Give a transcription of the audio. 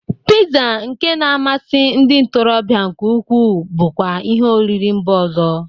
Piza nke na-amasi ndị ntorọbịa nke ukwu bụkwa ihi oriri mba ọzọ.